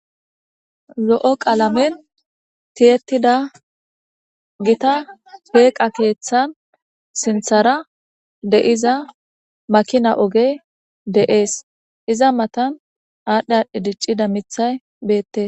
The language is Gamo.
lo'o qaalamen tiyetida gita peeqa keeththan sinthara de'iza makina oge de'ees iza matan aadhdhi aadhdhe diccida mithay beette